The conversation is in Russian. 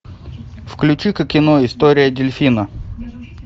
включи ка кино история дельфина